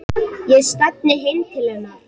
Ég stefni heim til hennar.